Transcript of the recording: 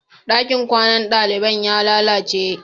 Ɗakin kwanan daliban ya lalace.